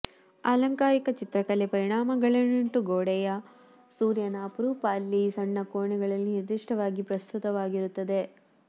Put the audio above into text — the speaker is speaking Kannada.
ಆಲಂಕಾರಿಕ ಚಿತ್ರಕಲೆ ಪರಿಣಾಮಗಳನ್ನುಂಟು ಗೋಡೆಯ ಸೂರ್ಯನ ಅಪರೂಪ ಅಲ್ಲಿ ಸಣ್ಣ ಕೋಣೆಗಳಲ್ಲಿ ನಿರ್ದಿಷ್ಟವಾಗಿ ಪ್ರಸ್ತುತವಾಗಿರುತ್ತದೆ